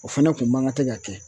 O fɛnɛ kun man kan tɛ ka kɛ